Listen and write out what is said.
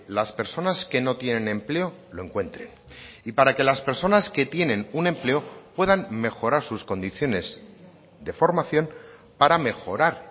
las personas que no tienen empleo lo encuentren y para que las personas que tienen un empleo puedan mejorar sus condiciones de formación para mejorar